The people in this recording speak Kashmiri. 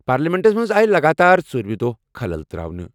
پارلیمنٹس منٛز آیہِ لگاتار ژوٗرِمہِ دۄہ خلل تراونہٕ۔